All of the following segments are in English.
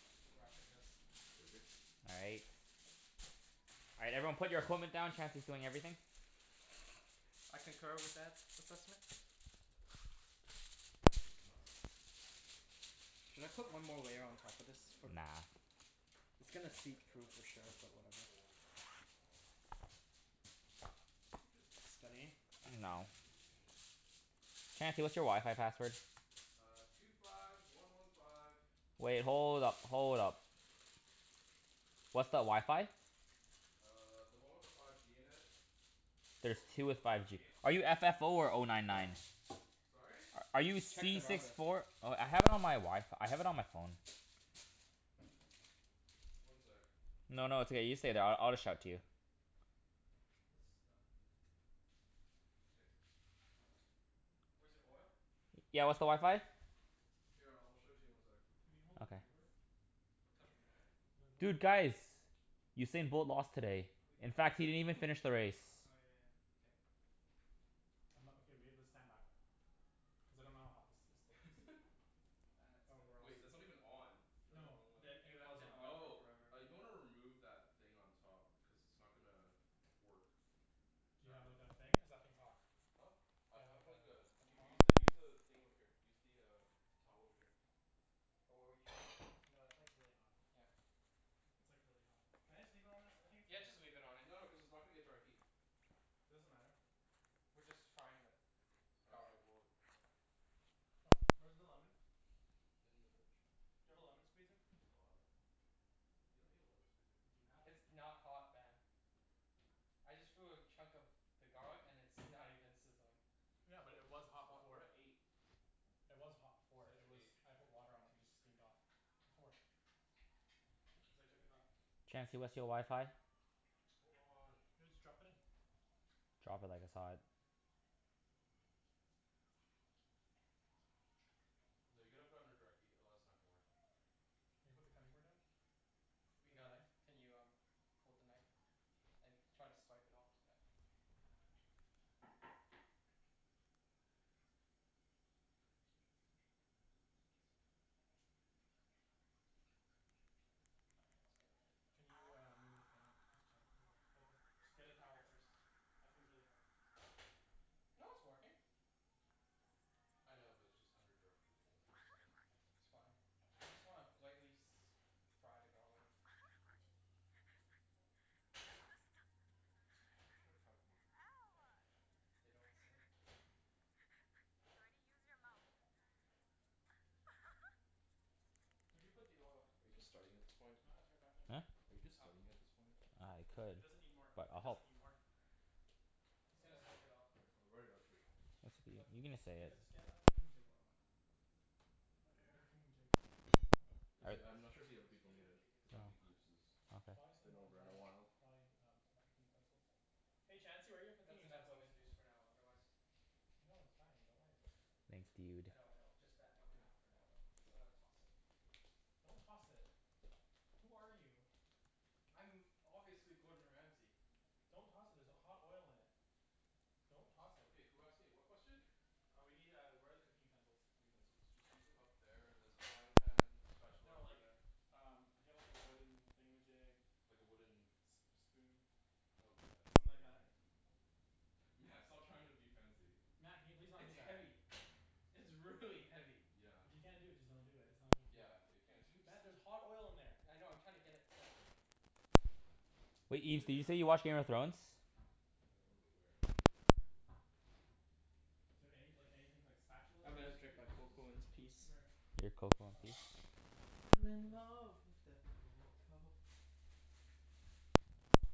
Back to wrapping this. K, we're good? All right. All right, everyone put your equipment down. Chancey's doing everything. I concur with that assessment. Actually, this is not gonna work. This is actually not gonna work. Should I put Why? one more layer on top of this for Nah. It's It's gonna getting there, seep but through, I for think sure, we need but like a whatever. whole bunch more flour. Maybe it's just me? Studying? Hmm? No. Maybe it's just me? I dunno. Chancey, what's your wi-fi password? Uh, two five one one five Wait, hold up. Hold up. What's the wi-fi? Uh, the one with the five G in it. The There's closest one two with the with five five G. G. Are you f f oh, or oh nine nine? Sorry? Are you Check the C router. six four Oh, I have it on my Wi- F- I have it on my phone. One sec. No, no, it's okay. You stay there. I I'll just shout to you. This is done. K. Where's your oil? I'm Yeah, gonna what's the need wi-fi? s- Here, I'll show it to you in one sec. Can you hold the Okay. cutting board? What cutting board? The wooden Dude, one. guys! Usain Bolt lost today. We can't In put the fact, he salmon didn't on even there until finish the the race. garlic is done. Oh yeah yeah. K. I'm not okay, we have to stand back though. Cuz I don't know how hot this this still is. Wait, That's that's gonna not even on. You're on the wrong No, one. He the, he it left was it on. on for Oh. forever. Uh, you might wanna remove that thing on top. Cuz it's not gonna work. Do you Not have gonna like, a thing? Cuz that thing's hot. Huh? I Do you have have like like a a a U- use tong? the use the thing over here. Use the uh towel over here. Wh- what were you No, it's like, really hot. Yeah. It's like, really hot. Can I just leave it on this? I think it's Yeah, just fine. leave it on it. No no, cuz it's not gonna get direct heat. Doesn't matter. We're just frying the Oh, okay. garlic. Well, okay. C'mon. Where's the lemon? In the fridge. Do you have a lemon squeezer? At the bottom. You don't need a lemon squeezer. Do you have one? It's not hot, Ben. I just threw a chunk of the garlic and it's not even sizzling. Yeah, But, but We're it at was cuz the it's hot top, hot, we're before. we're at at eight. eight. It was hot before. Set it It to was, eight. I put water on it and it just steamed off. Before. Cuz I took it off. Chancey, what's your wi-fi? Hold on. Yeah, just drop it in. Drop it like it's hot. No, you gotta put it under direct heat, otherwise it's not gonna work. Can you put the cutting board in? We And a got it. knife? Can you um hold the knife? And try to swipe it all, yeah. My hands got a bit Can you, uh, move the thing? Cuz Chan Just get a towel first. That thing's really hot. No, it's working. I know, but it's just under direct heat, so I'm just saying. It's fine. We just wanna lightly s- fry the garlic. I should have prepped more. You don't say. Where'd you put the oil? Are you just starting at this point? Oh right, it's right back there. Huh? Are you just Oh. starting at this point? I It could. doesn't need more. But It I'll doesn't help. need more. It's Oh, gonna soak it up. here, I'll write it out for you. But you can just say get it. a, just get a thingamajig. Hold on. Get a Here. thingamajig. Yeah, Cuz All right. like, I'm ask not sure if Chancey the where other his people need it. thingamajig Cuz is. I don't Oh. think Ibs Okay. has been over in a while. Try um some cooking utensils. Hey Chancey, where are your cooking That's enough lemon utensils? juice for now, otherwise No, it's fine. Don't worry about it. Thanks, I dude. know, I know. Just add one half for now though, cuz I'm gonna toss it. Don't toss it. Who are you? I'm obviously Gordon Ramsey. Don't toss it, there's h- hot oil in it. Don't toss it. Okay, who asked me what question? Uh we need uh, where are the cooking utensils? Utensils. Just use them, up there, there's a frying pan spatula No over like, there. um we need a wooden thingamajig. Like a wooden S- a spoon. Oh, yeah, should Something be right like that? here. Mat, stop trying to be fancy. Mat, can you please not do It's that? heavy. It's really heavy. Yeah. If you can't do it, just don't do it. It's not a big Yeah, deal. if you can't do it just Mat, d- there's hot oil in there. I know. I'm trying to get it centered. Wait, It Ibs, should did be you say around here. you watch Game of Thrones? I don't remember where, but it should be around here. Do you have any like, anything like spatula I'm gonna Just, maybe? drink yeah, my just use a cocoa in this spatula. peace. Where? Your cocoa in Oh, peace? that? I'm Oh in nice. Okay. love with the cocoa.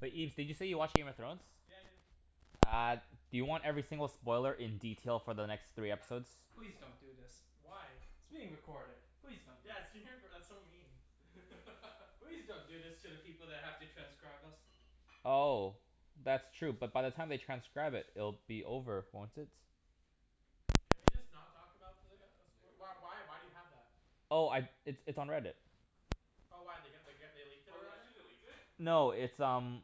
But Ibs, did you say you watch Game of Thrones? Yeah, I do. Uh, do you want every single spoiler in detail for the next three episodes? Please don't do this. Why? It's being recorded. Please don't do this. Yes, you did, but that's so mean. Please don't do this to the people that have to transcribe us. Oh. That's true. But by the time they transcribe it it'll be over, won't it? Can we just not talk about the uh as- Yeah, can w- we just why not talk why do about you it? have that? Oh, I, it's it's on Reddit. Oh, why? They g- they g- they leaked it Oh, they already? actually, they leaked it? No, it's um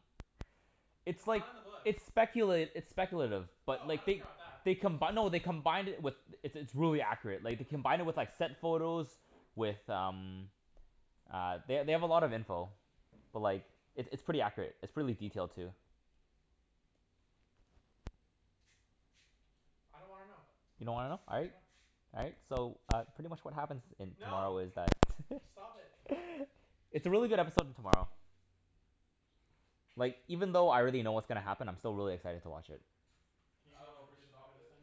it's It's like, not in the book. it's speculat- it's speculative. But Oh, I like, don't they care 'bout that. they Do you have combi- salt no, they pepper? combined it with Yep, It's it's right there. This? really accurate. Like, And they where's the There. combine pepper? it with like, That thing? set The bigger one, photos yeah. Got it. with um uh, they they have a lot of info. But like, How does it's this it's work? pretty Yep, accurate. It's preally salt pepper. detailed, too. I don't wanna know. What the You don't wanna know? All right. No. All right. So, uh, pretty much what happens in tomorrow No! is that Stop it. It's a really good episode in tomorrow. Like, even though I already know K. what's gonna happen, I'm still really excited to watch it. Can you not Alvin, overdo just the pepper stop this it. time?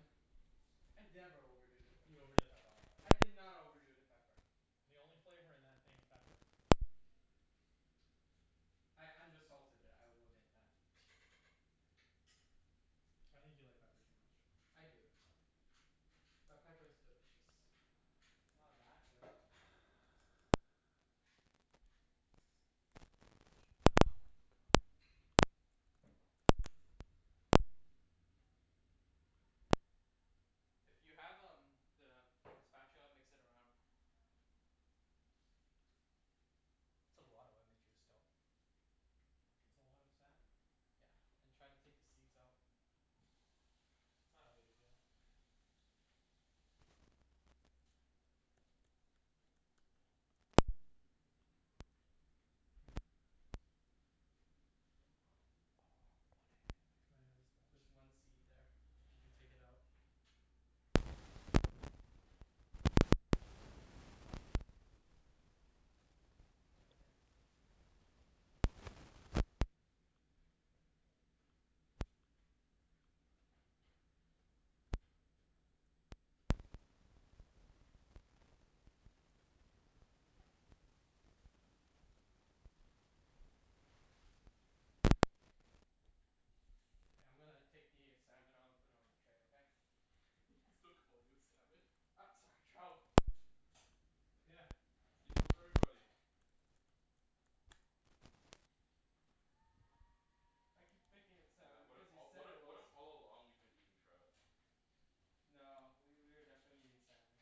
I never overdo the pepper. You overdid it last time. I did not overdo the pepper. The only flavor in that thing was pepper. I undersalted it. I will admit that. I think you like pepper too much. I do. But pepper is delicious. It's not that good. If you have um the spatula mix it around. That's a lot of lemon juice though. It's a lot of salmon. Yeah, and try to take the seeds out. It's not really a big deal. Yeah. Here. Can I have a There's spatch? one seed there. If you could take it out. It's right there. K, I'm gonna take the salmon out and put it on the tray, okay? He's still calling it salmon. U- sorry, trout. Yeah. See? Fools everybody. I keep thinking it's Mat, salmon what if because you all, said what it i- what was. if all along we've been eating trout? No, w- we were definitely eating salmon.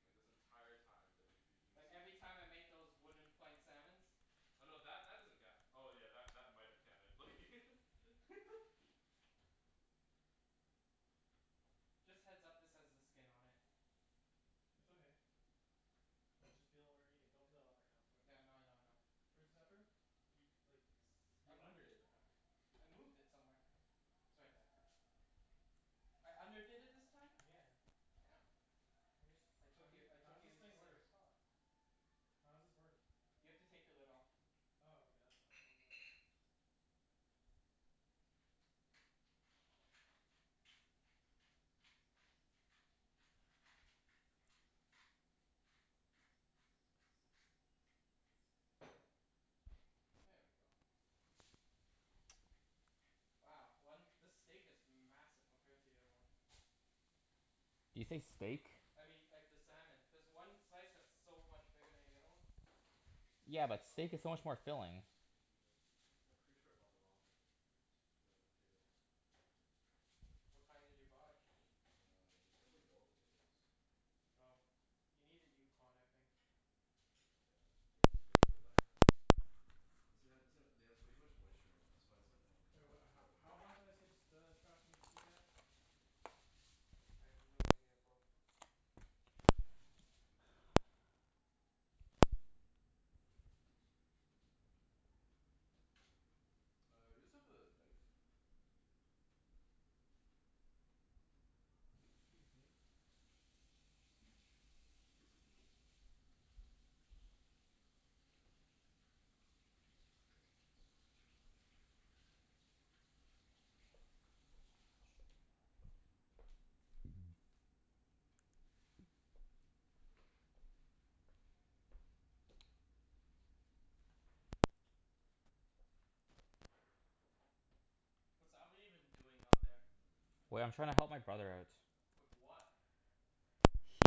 Like this entire time that we've been eating Like, every sushi time I made those wooden plank salmons. Oh no, that that doesn't count. Oh yeah, that that might have counted, like Just heads up, this has the skin on it. It's okay. We'll just peel when we're eating. Don't cut it off right now. It's too much work. Yeah, I know I know I know. Where's the pepper? You, like, S- s- I you moved underdid it. the pepper. I moved it somewhere. It's right there. I underdid it this time? Yeah. Damn. Where's, I how took do you- you, I took how's you this into thing work? serious thought. How's this work? You have to take the lid off. Oh, okay. That's why. I was like There we go. Wow. One, this steak is massive compared to the other one. Did you say steak? I mean, like, the salmon. There's one slice that's so much bigger than the other one. Yeah, but Oh, steak is so much more god, this filling. is way too wet. Yeah, pretty sure I bought the wrong po- t- t- uh, potatoes. What kind did you buy? Uh, they're simply yellow potatoes. Oh. You needed Yukon, I think. Yeah, they didn't label that. This thing ha- this thing ha- it has way too much moisture in it. That's why it's like, not Wait, coming what ho- together. how hot did I say the s- the trout needs to get? I have no idea, bro. Uh, you guys have the knife? Excuse me. Yep, this is way too What's Alvin even doing out there? Wait, I'm trying to help my brother out. With what?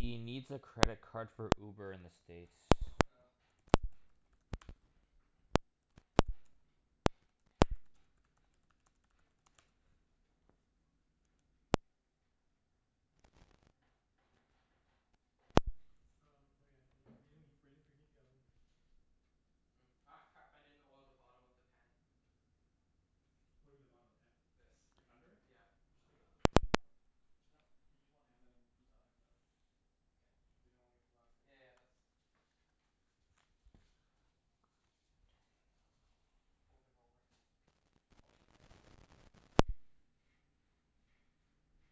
He needs a credit card for Uber in the States. Oh. Um, oh yeah. Y- we didn't he- we didn't preheat the oven. Hmm. Ah, crap. I didn't oil the bottom of the pan. What do you mean the bottom of the pan? This. Like, under it? Yeah. Just pick up the fish and oil it. There's no but use one hand and then use the other hand for the other one. K. Cuz you don't wanna get the Yeah yeah yeah, that's Fold it over. Call it a day.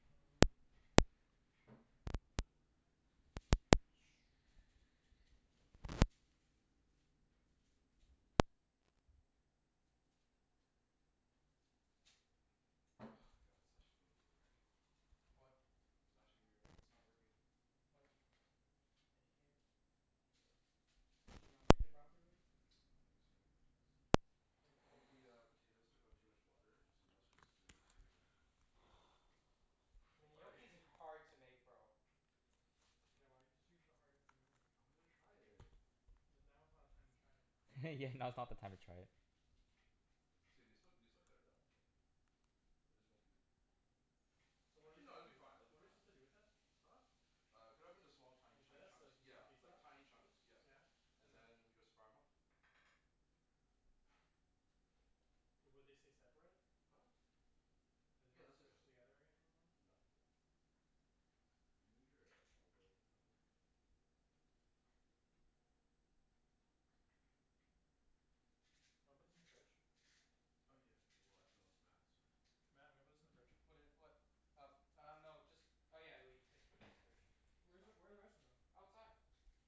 Mm. Ah, god it's actually gonna be a wreck. What? It's actually gonna be a wreck. It's not working. What? The hell. Did you not make it properly? I don't think so. It's What I wa- think the what's uh, potatoes took on too much water so now it's just way too I mean, watery. gnocchi's hard to make, bro. Yeah, why did you choose the hardest thing to make? I wanted to try it. Cuz now is not a time to try it. Yeah, now's not the time to try it. It's gonna be still, we can still cut it up, like It just won't be So what are su- Actually no, it'll be do, fine. It'll what be are we fine. supposed to do with it? Huh? Uh, cut it up into small, tiny Like chu- this? So chunks. as to get the Yeah, piece like off? tiny chunks, yeah. Yeah. And And then? then we just fire 'em off. Would they stay separate? Huh? Are they Yeah, not they'll stay squished separate. together any- anymore? No, they won't. Can you move your uh olive oil thing out of the way? Wanna put this in the fridge? Oh yeah. Well, actually no, it's Mat's, so Mat, I'm gonna put this in the fridge. What i- what? Uh uh, no. Just Oh yeah, le- c- put it in the fridge. It's Where is, fine. where are the rest of them? Outside.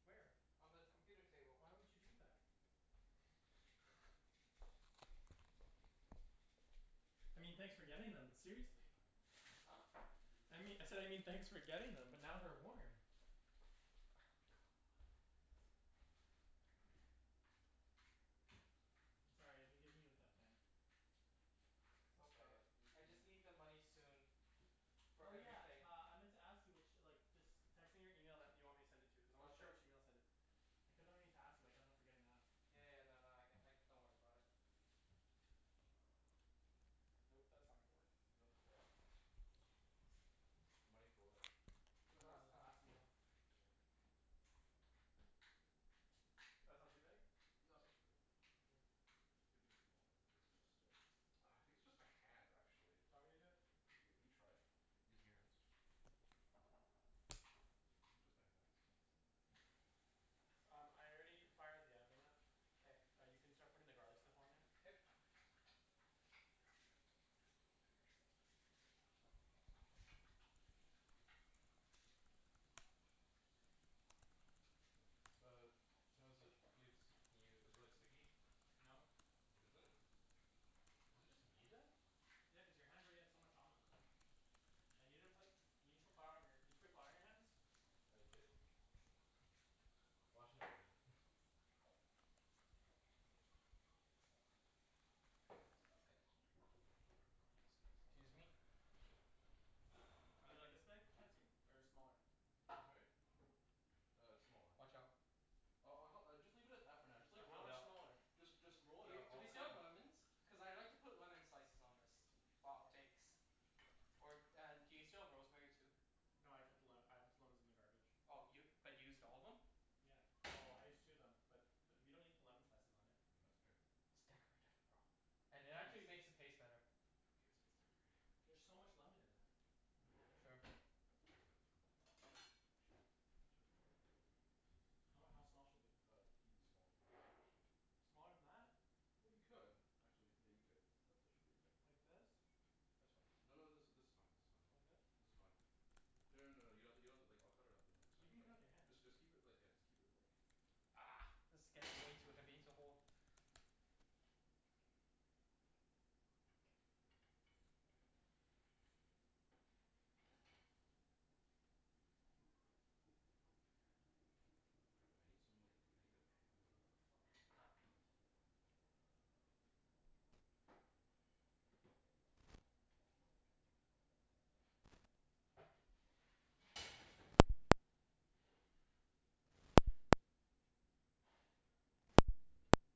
Where? On the computer table. Why would you do that? I mean Leave the thanks for second getting half them, but for some other seriously. time. Huh? I'm gonna leave the I mean, second I half said I mean thanks for for some other getting time. them but now they're warm. Oh, God. come on. I'm sorry. I've been giving you a tough time. It's okay. Uh, you I just need the money soon. For Oh yeah, everything. uh, I meant to ask you ch- like just text me your email that you want me to send it to, cuz I wasn't sure Gotcha. which email to send it. I kept on meaning to ask you but I kept on forgetting to ask. Yeah yeah, no no, I c- like, don't worry about it. Nope. That's not gonna work. Email for what? Money for what? For the Last time. last meal. Mm. That's not too big? No, that's not too big. You can make it smaller. It's gonna stick. Ah, I think it's just my hands, actually. Do you want me to do it? Yeah, can you try? Using your hands? Maybe just my hands. Um, I already fired the oven up. K. Uh, you can start putting the garlic stuff on there. K. Uh how's it, Ibs? Can you, is it like sticky? No. It isn't? Is it just me, then? Yeah, cuz your hands already had so much on them. And you didn't put, you didn't put flour on your Did you put flour on your hands? I did. Well, actually I've been K. Excuse me. Are they like this big, Chancey? Or smaller? Sorry? Uh, smaller. Watch out. I'll I'll hel- just leave it at that for now. Just So, like, roll how it much out. smaller? Just just roll Do it y- out. do I'll we cut still 'em have up. lemons? Cuz I'd like to put lemon slices on this. While it bakes. Or and do you still have rosemary, too? That's No, I cut the le- better. I put the lemons in the garbage. Oh, y- but you used all of them? Yeah. Well, I used two of them. But we don't need to put lemon slices on it. That's okay. It's decorative, bro. And it Yeah, I actually It's just makes it taste better. Who cares if it's decorated? There's so much lemon in that. Sure. Watch Chop. out. Chop. How how small should they be? Uh, even smaller than that actually. Smaller than that? Well, you could. Actually, yeah, you could. That that should be okay. Like this? That's fine. No no, this is this is fine, this is Like fine. this? This is fine. No no no no, you have to, you don't have to like, I'll cut it up in like You tiny can cut it with your chunks. hand. Just just keep it like, yeah, just keep it like Argh! This is getting way too heavy to hold. Oh crap. I need some like, I need a pan with like flour in it so I can put 'em on the pan.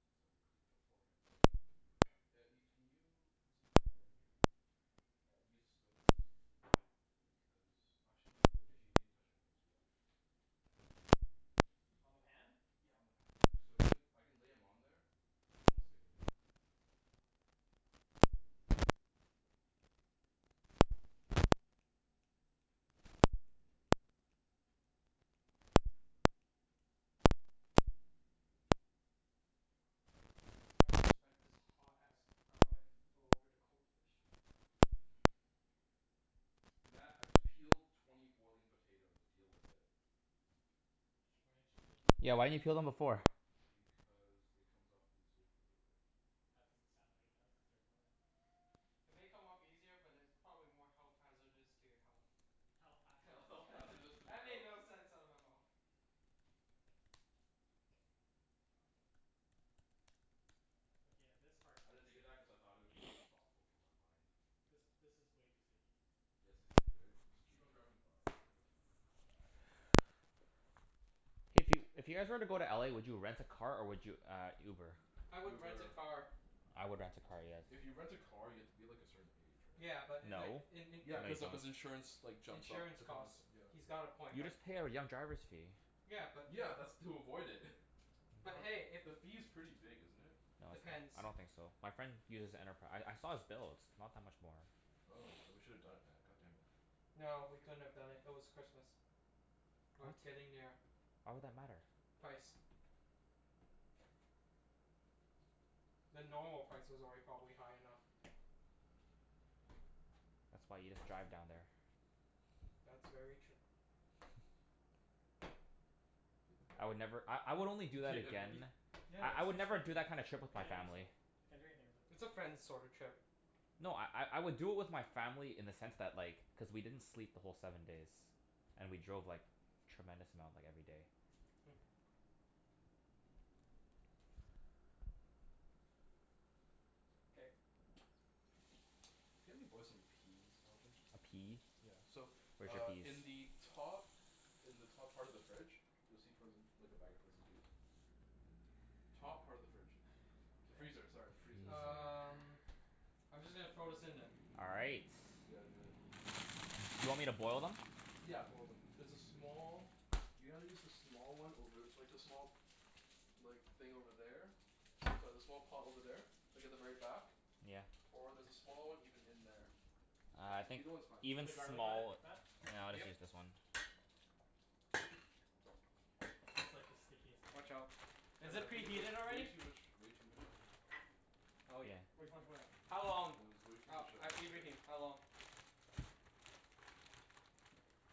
Since I already cleaned beforehand, so Yeah, Ibs, can you put some flour in here? Uh, use a spoon please. Why? Because, actually no, d- wait, you actually didn't touch anything, so yeah. On the pan? Yeah, on the pan. So I can la- I can lay 'em on there so they won't stick anymore. Little more than that. Keep going. Thanks. K, we're good. Trying to spread this hot ass garlic all over the cold fish. Mat, I just peeled twenty boiling potatoes. Deal with it. Why didn't you just peel them Yeah, why beforehand? didn't you peel them before? Because it comes off easier the other way. That doesn't sound like it does, cuz they're boiling. It may come off easier, but it's probably more health hazardous to your health. Health Health hazardous to hazardous to my That made health. no sense out of my mouth. Okay, yeah, this part I didn't think of that cuz I thought it would be too thoughtful for my mind. This this is way too sticky. Yeah, it's too sticky, right? Just keep on grabbing flour until like, you Hey, if you if you guys were to go to LA, would you rent a car or would you uh Uber? I would rent a Uber. car. I would rent a car, yes. If you rent a car, you have to be like, a certain age, right? Yeah, but like No. in in Yeah, cuz of, cuz insurance like, jumps up insurance the cost, costs. yeah. He's got a point, You but just pay a r- young driver's fee. Yeah, but if Yeah, that's to avoid it. But But hey, if the fee's pretty big, isn't it? No, it's not. I Depends. don't think so. My friend uses Enterpri- I I saw his bills. Not that much more. Oh, then we should have done it Mat, god damn it. No, we couldn't have done it. It was Christmas. Or What? getting there. Why would that matter? Price. The normal price was already probably high enough. That's why you just drive down there. That's very true. I would never, I I would only do You that okay there, buddy? again Yeah, I I they're would too never do sticky. that kind of I trip with my can't use family. it. Can't do anything with it. It's a friends sorta Yeah. trip. No, I I I would do it with my family in the sense that, like cuz we didn't sleep the whole seven days. And we drove like, tremendous amount like, every day. Hmm. K. Can you help me boil some peas, Alvin? A pea? Yeah. So, Where's your uh in peas? the top in the top part of the fridge you'll see frozen like, a bag of frozen peas. Top part of the fridge. The freezer, sorry. The freezer, K. sorry. Um Freezer. I'm just gonna throw this in then. All right. Yeah, do it. Do you want me to boil them? Yeah, boil them. There's a small, you gotta use the small one over, like the small like, thing over there. Sorry, the small pot over there. Like at the very back. Yeah. Or there's a small one even in there. Ah, I think Either one's fine. Did you put even the garlic on small w- it, Mat? No, Yeah, I'll buddy. just Yep. use this one. This is like the stickiest thing. Watch out. I Is know, I it think there's preheated way already? too much, way too much, um Oh yeah. Yeah. Way too much what? How Uh, long? there was way too Oh, much uh uh, moisture. Ibrahim? How long?